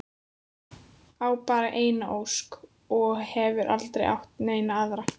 Á bara eina ósk og hefur aldrei átt neina aðra.